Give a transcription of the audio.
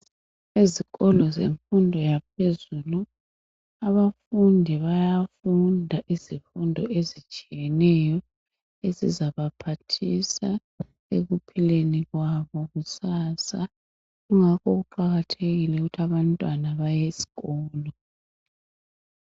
Esikolo zemfundo yaphezulu abafundi bayafunda izifundo ezitshiyeneyo ezizabaphathisa ekuphileni kwabo kusasa ingakho kuqakathekile ukuthi abantwana baye esikolo.